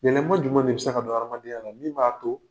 Yɛlɛma juma de bɛ se ka don hadamadenyaya la min b'a to?